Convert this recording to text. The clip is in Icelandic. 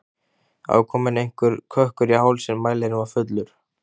Það var kominn einhver kökkur í hálsinn, mælirinn var fullur.